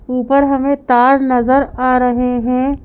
ऊपर हमें तार नजर आ रहे हैं।